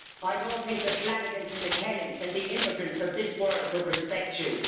I don't think the Flanagans and the Kellys and the immigrants of this world would respect you.